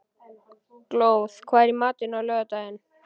Glóð, hvað er í matinn á laugardaginn?